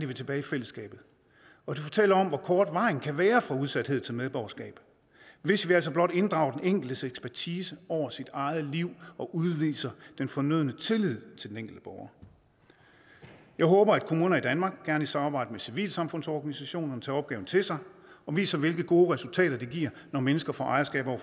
vil tilbage i fællesskabet og de fortæller om hvor kort vejen kan være fra udsathed til medborgerskab hvis vi altså blot inddrager den enkeltes ekspertise over sit eget liv og udviser den fornødne tillid til den enkelte borger jeg håber at kommuner i danmark og gerne i samarbejde med civilsamfundsorganisationer tager opgaven til sig og viser hvilke gode resultater det giver når mennesker får ejerskab over